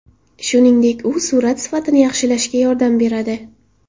Shuningdek, u surat sifatini yaxshilashga yordam beradi.